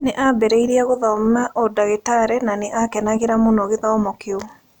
Nĩ aambĩrĩirie gũthoma ũndagĩtarĩ na nĩ aakenagĩra mũno gĩthomo kĩu.